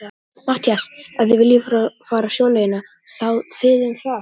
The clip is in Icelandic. MATTHÍAS: Ef þið viljið fara sjóleiðina, þá þið um það.